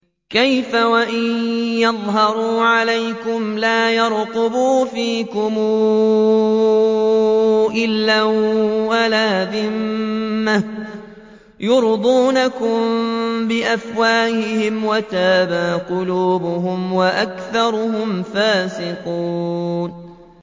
كَيْفَ وَإِن يَظْهَرُوا عَلَيْكُمْ لَا يَرْقُبُوا فِيكُمْ إِلًّا وَلَا ذِمَّةً ۚ يُرْضُونَكُم بِأَفْوَاهِهِمْ وَتَأْبَىٰ قُلُوبُهُمْ وَأَكْثَرُهُمْ فَاسِقُونَ